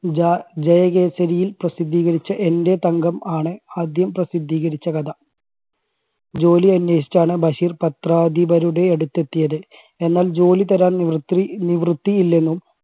ജ~ജയകേസരിയിൽ പ്രസിദ്ധീകരിച്ച എൻറെ തങ്കം ആണ് ആദ്യം പ്രസിദ്ധീകരിച്ച കഥ. ജോലി അന്വേഷിച്ചാണ് ബഷീർ പത്രാധിപരുടെ അടുത്ത് എത്തിയത് എന്നാൽ ജോലി തരാൻ നിവൃത്തി നിവൃത്തിയില്ലെന്നും